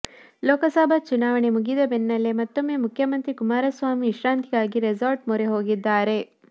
ಲೋಕಸಭಾ ಚುನಾವಣೆ ಮುಗಿದ ಬೆನ್ನಲ್ಲೇ ಮತ್ತೊಮ್ಮೆ ಮುಖ್ಯಮಂತ್ರಿ ಕುಮಾರಸ್ವಾಮಿ ವಿಶ್ರಾಂತಿಗಾಗಿ ರೆಸಾರ್ಟ್ ಮೊರೆ ಹೋಗಿದ್ದಾರೆ